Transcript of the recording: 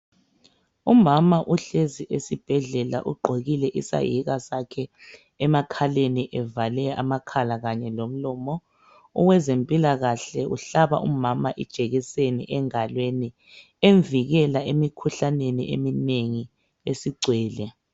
Umama uhlezi esibhedlela ugqokile isahika sakhe emakhaleni evale amakhala kanye lomlomo. Owezempilakahle uhlaba umama ijekiseni engalweni emvikela emkhuhlaneni eminengi esigwele.